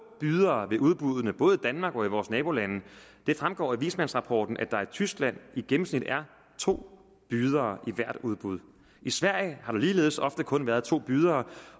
bydere ved udbuddene både i danmark og i vores nabolande det fremgår af vismandsrapporten at der i tyskland i gennemsnit er to bydere ved hvert udbud i sverige har der ligeledes ofte kun været to bydere